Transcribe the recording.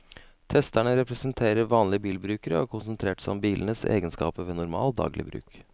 Testerne representerer vanlige bilbrukere og har konsentrert seg om bilenes egenskaper ved normal, daglig bruk.